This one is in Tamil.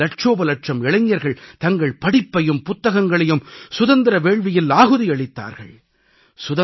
தேசத்தின் லட்சோப லட்சம் இளைஞர்கள் தங்கள் படிப்பையும் புத்தகங்களையும் சுதந்திர வேள்வியில் ஆஹுதி அளித்தார்கள்